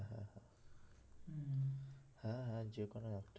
হ্যাঁ হ্যাঁ যেকোনো একটা